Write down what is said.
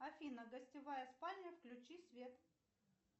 афина гостевая спальня включи свет